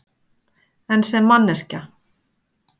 En sem manneskja?